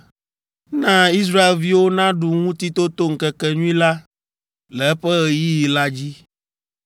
“Na Israelviwo naɖu Ŋutitotoŋkekenyui la le eƒe ɣeyiɣi la dzi.